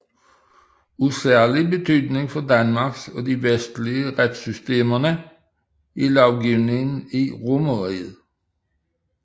Af særlig betydning for Danmarks og de vestlige retssystemer er lovgivningen i Romerriget